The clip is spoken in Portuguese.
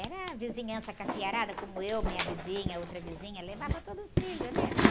Era vizinhança com a filharada, como eu, minha vizinha, outra vizinha, levava todos os filhos, né, filho?